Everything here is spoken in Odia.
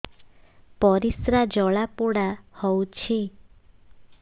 ପରିସ୍ରା ଜଳାପୋଡା ହଉଛି